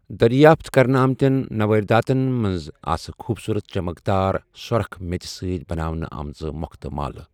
دریافت كرنہٕ آمتین نوادراتَن منٛز ٲسہِ خوبصوٗرت چمکدار سورخ میژِ سۭتۍ بناونہٕ آمژٕ مو٘ختہٕ مالہٕ ۔